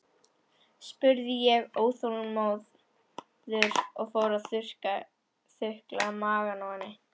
spurði ég óþolinmóður og fór að þukla magann á henni.